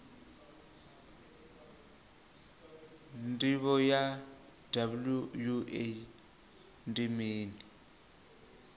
ndivho ya wua ndi mini